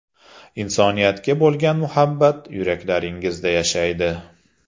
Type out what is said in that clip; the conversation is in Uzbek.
Insoniyatga bo‘lgan muhabbat yuraklaringizda yashaydi!